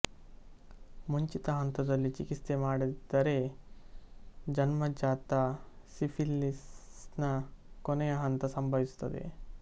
ಮುಂಚಿತ ಹಂತದಲ್ಲಿ ಚಿಕಿತ್ಸೆ ಮಾಡದಿದ್ದರೆಜನ್ಮಜಾತ ಸಿಫಿಲಿಸ್ನ ಕೊನೆಯ ಹಂತ ಸಂಭವಿಸುತ್ತದೆ